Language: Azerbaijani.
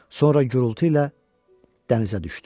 Sonra gurultu ilə dənizə düşdü.